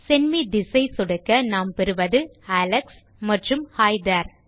send me this I சொடுக்க நாம் பெறுவது அலெக்ஸ் மற்றும் ஹி தேரே